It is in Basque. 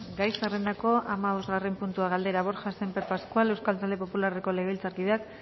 gai zerrendako hamabosgarren puntua galdera borja sémper pascual euskal talde popularreko legebiltzarkideak